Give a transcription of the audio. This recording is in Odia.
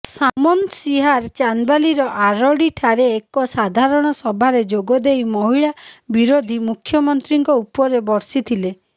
ସାମନ୍ତସିଂହାର ଚାନ୍ଦବାଲିର ଆରଡିଠାରେ ଏକ ସାଧାରଣ ସଭାରେ ଯୋଗଦେଇ ମହିଳା ବିରୋଧୀ ମୁଖ୍ୟମନ୍ତ୍ରୀଙ୍କ ଉପରେ ବର୍ଷିଥିଲେ